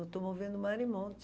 Eu estou movendo mar e monte.